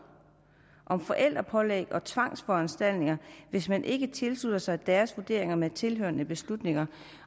om forældrepålæg og tvangsforanstaltninger hvis man ikke tilslutter sig deres vurderinger med tilhørende beslutninger